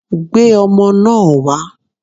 Gbé ọmọ náà wá!